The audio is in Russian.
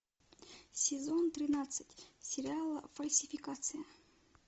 сезон тринадцать сериала фальсификация